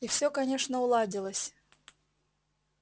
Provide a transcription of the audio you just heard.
и всё конечно уладилось